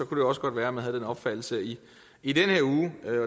det også godt være at man har den opfattelse i i den her uge